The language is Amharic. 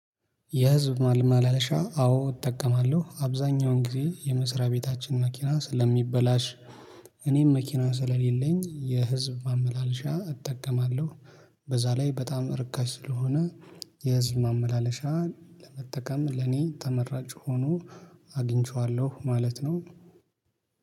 የህዝብ ማመላለሻ አዎ እጠቀማለሁ አብዛኛውን ጊዜ የመስሪያ ቤታችን መኪና ስ ሥለሚበላሽ እኔም መኪና ስለሌለኝ የህዝብ ማመላለሻ እጠቀማለሁ። በዛ ላይ በጣም ርካሽ ስለሆነ የህዝብ ማመላለሻ ለመጠቀም ለኔ ተመራጭ ሆኖ አግኝቼዋለሁ። ማለት ነው